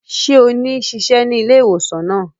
Ṣe o ni ṣiṣẹ ní ilé-ìwòsàn náà?